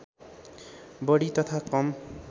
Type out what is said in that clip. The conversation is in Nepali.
बढी तथा कम